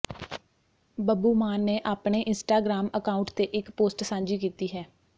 ਬੱਬੂ ਮਾਨ ਨੇ ਆਪਣੇ Instagram account ਤੇ ਇੱਕ ਪੋਸਟ ਸਾਂਝੀ ਕੀਤੀ ਹੈ